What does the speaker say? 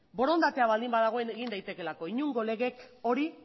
borondatea baldin badago egin daitekeelako inongo legeek hori